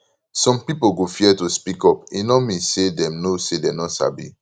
some pipo go fear to speak up e no mean say dem no say dem no sabi